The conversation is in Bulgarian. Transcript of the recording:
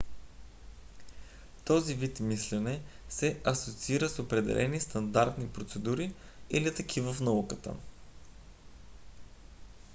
този вид мислене се асоциира с определени стандартни процедури или такива в науката